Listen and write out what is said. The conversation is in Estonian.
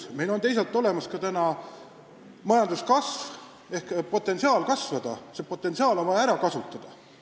On ju meil teisalt täiesti olemas majanduse potentsiaal kasvada, see on vaja ära kasutada.